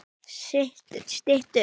Stytt upp